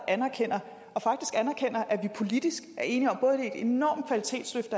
anerkender at vi politisk er enige om både et enormt kvalitetsløft